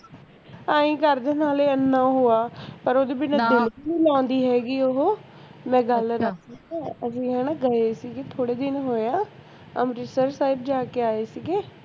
ਐਹੀਂ ਕਰਦੇ ਨਾਲੇ ਐਨਾਂ ਓਹੋ ਹੈ ਲਾਂਦੀ ਹੈਗੀ ਓਹੋ ਮੈਂ ਗੱਲ ਦੱਸਦੀ ਐ ਅਸੀਂ ਹੈਨਾ ਗਏ ਸੀਗੇ ਥੋੜੇ ਦਿਨ ਹੋਏ ਆ ਅੰਮ੍ਰਿਤਸਰ ਸਾਹਿਬ ਜਾ ਕ ਆਏ ਸੀਗੇ